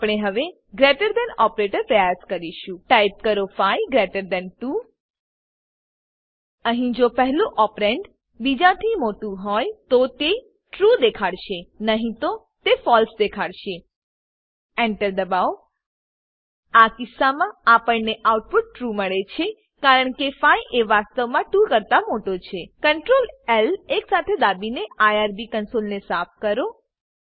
આપણે હવે greater than operator પ્રયાસ કરીશું ટાઈપ કરો 5 ગ્રેટર થાન 2 અહીં જો પહેલું ઓપરેન્ડ ઓપરેન્ડ બીજાથી મોટું હોય તો તે ટ્રૂ ટ્રૂ દેખાડશે નહી તો તે ફળસે ફોલ્સ દેખાડશે Enter દબાવો આ કિસ્સામાં આપણને આઉટપુટ ટ્રૂ ટ્રૂ મળે છે કારણ કે 5 એ વાસ્તવમાં 2 કરતા મોટો છે Ctrl એલ એકસાથે દાબીને આઇઆરબી કંસોલને સાફ કરો